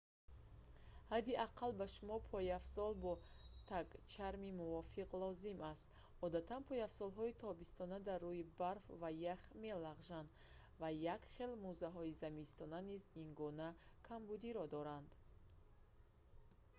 ҳадди аққал ба шумо пойафзол бо тагчарми мувофиқ лозим аст одатан пойафзолҳои тобистона дар руи барф ва ях мелағжанд ва якхел мӯзаҳои зимистона низ ин гуна камбудиро доранд